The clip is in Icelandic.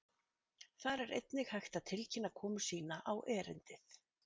Þar er einnig hægt að tilkynna komu sína á erindið.